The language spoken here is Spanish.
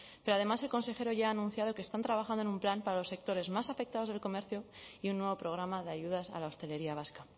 pero además el consejero ya ha anunciado que están trabajando en un plan para los sectores más afectados del comercio y un nuevo programa de ayudas a la hostelería vasca